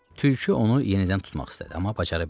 Tülkü onu yenidən tutmaq istədi, amma bacara bilmədi.